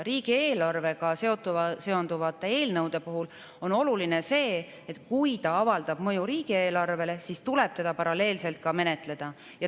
Riigieelarvega seonduva eelnõu puhul on oluline see, et kui ta avaldab mõju riigieelarvele, siis tuleb teda ka paralleelselt menetleda.